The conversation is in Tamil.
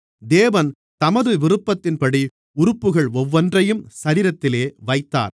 தேவன் தமது விருப்பத்தின்படி உறுப்புகள் ஒவ்வொன்றையும் சரீரத்திலே வைத்தார்